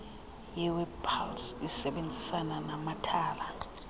yewebpals isebenzisana namathala